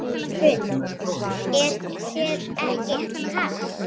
Hrund: Er þér ekki kalt?